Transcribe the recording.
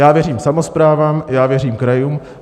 Já věřím samosprávám, já věřím krajům.